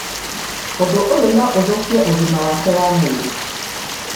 ũndũ ũyu no ũthũkie ũgima wake wa mwĩrĩ